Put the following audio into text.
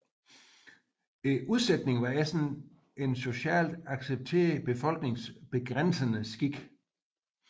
Udsætning var ellers en socialt accepteret befolkningsbegrænsende skik